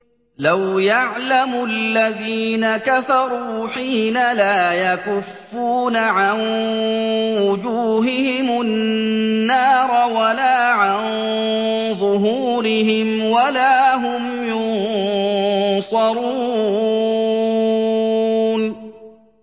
لَوْ يَعْلَمُ الَّذِينَ كَفَرُوا حِينَ لَا يَكُفُّونَ عَن وُجُوهِهِمُ النَّارَ وَلَا عَن ظُهُورِهِمْ وَلَا هُمْ يُنصَرُونَ